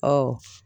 Ɔwɔ